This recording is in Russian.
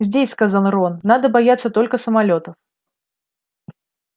здесь сказал рон надо бояться только самолётов